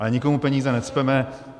Ale nikomu peníze necpeme.